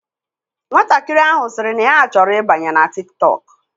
Nwatakịrị ahụ sịrị na ya chọrọ ịbanye na Tik tọk.